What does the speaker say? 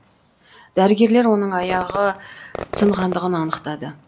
дәрігерлер оның аяғы сынғандығын анықтады